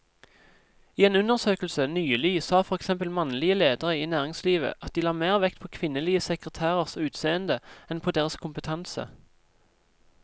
I en undersøkelse nylig sa for eksempel mannlige ledere i næringslivet at de la mer vekt på kvinnelige sekretærers utseende enn på deres kompetanse.